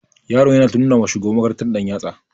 Yaron yana ta nuna wa shugaban makarantar ɗanyatsa.